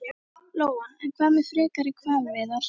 Lóa: En hvað með frekari hvalveiðar?